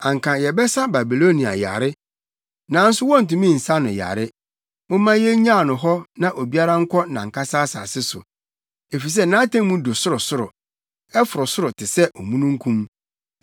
“ ‘Anka yɛbɛsa Babilonia yare, nanso wontumi nsa no yare; momma yennyaw no hɔ na obiara nkɔ nʼankasa asase so, efisɛ nʼatemmu du sorosoro; ɛforo soro te sɛ omununkum.’